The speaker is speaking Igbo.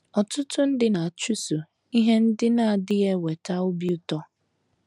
Ọtụtụ ndị na - achụso ihe ndị na - adịghị eweta obi ụtọ.